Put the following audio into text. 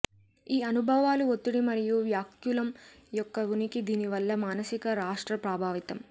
ఈ అనుభవాలు ఒత్తిడి మరియు వ్యాకులం యొక్క ఉనికి దీనివల్ల మానసిక రాష్ట్ర ప్రభావితం